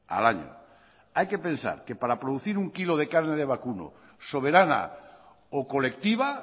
al año hay que pensar que para producir un kilo de carne de vacuno soberana o colectiva